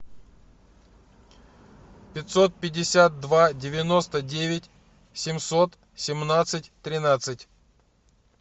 пятьсот пятьдесят два девяносто девять семьсот семнадцать тринадцать